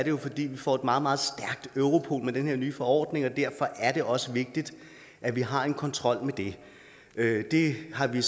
jo fordi vi får et meget meget stærkt europol med den her nye forordning derfor er det også vigtigt at vi har en kontrol med det det har vi